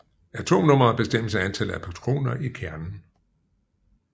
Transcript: Atomnummeret bestemmes af antallet af protoner i kernen